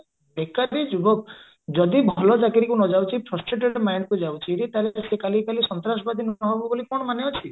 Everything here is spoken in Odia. ବେକାରି ଯୁବକ ଯଦି ଭଲ ଚାକିରୀକୁ ନଯାଉଚି frustrated mindକୁ ଯାଉଚି ଯେ ସେ କାଲି କାଲି ସନ୍ତ୍ରାସବାଦୀ ନହବ ବୋଲି କଣ ମାନେ ଅଛି